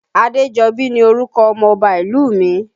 Adejobi ni orúkọ ọmọ Ọba ìlú mi